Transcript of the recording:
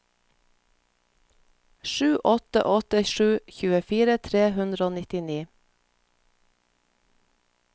sju åtte åtte sju tjuefire tre hundre og nittini